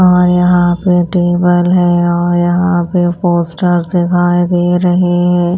और यहाँ पे टेबल है और यहाँ पे पोस्टर्स दिखाई दे रहे हैं।